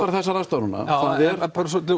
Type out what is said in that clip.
þessar aðstæður núna já en bara svolítið